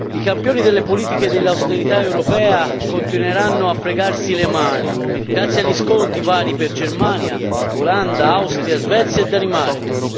I campioni delle politiche dell'austerità europea continueranno a fregarsi le mani grazie agli sconti vari per Germania, Olanda, Austria, Svezia e Danimarca.